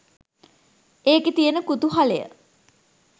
ඒක තියෙන කුතුහලය